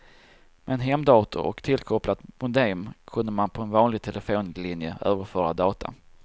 Med en hemdator och tillkopplat modem kunde man på en vanlig telefonlinje överföra data.